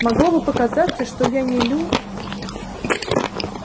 могло бы показаться что я не лю